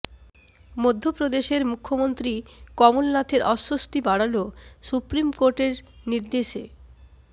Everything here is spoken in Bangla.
মধ্যপ্রদেশের মুখ্যমন্ত্রী কমল নাথের অস্বস্তি বাড়াল সুপ্রিম কোর্টের নির্দেশ